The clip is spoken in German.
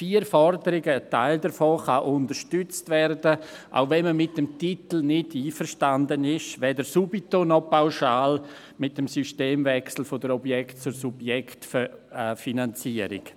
Vier Forderungen: Ein Teil davon kann unterstützt werden, auch wenn man mit dem Titel nicht einverstanden ist: weder subtil noch pauschal mit dem Systemwechsel von der Objekt- zur Subjektfinanzierung.